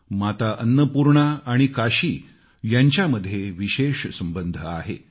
माता अन्नपूर्णा आणि काशी यांच्यामध्ये विशेष संबंध आहे